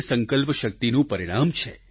સંકલ્પશક્તિનું જ પરિણામ છે